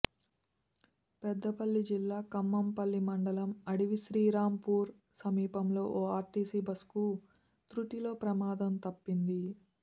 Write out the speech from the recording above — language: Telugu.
పెద్దపల్లి జిల్లా ఖమ్మంపల్లి మండలం అడవి శ్రీరాంపూర్ సమీపంలో ఓ ఆర్టీసీ బస్సుకు తృటిలో ప్రమాదం తప్పింది